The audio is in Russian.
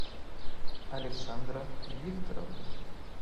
александра викторовна